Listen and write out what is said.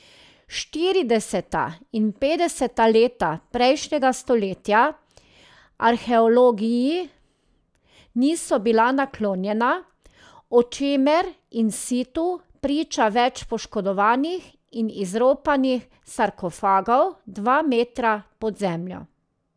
Štirideseta in petdeseta leta prejšnjega stoletja arheologiji niso bila naklonjena, o čemer in situ priča več poškodovanih in izropanih sarkofagov dva metra pod zemljo.